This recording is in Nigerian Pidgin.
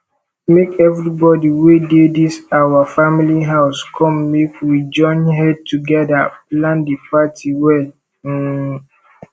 make everybody wey dey dis our family house come make we join head togeda plan the party well um